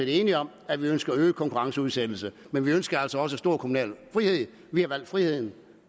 enige om at vi ønsker øget konkurrenceudsættelse men vi ønsker altså også en stor kommunal frihed vi har valgt friheden